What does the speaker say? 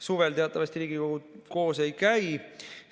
Suvel teatavasti Riigikogu koos ei käi.